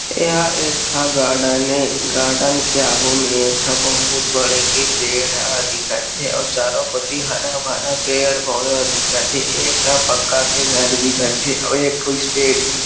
एहा एक ठा गार्डन हे गार्डन के आगू में एक ठा बहुत बड़े के पेड़ ह दिखत थे अउ चारो कती हरा भरा पेड़ पौधा दिख हे एक ठा पक्का के घर दिख थे अउ एक ठो स्टेट हिल .--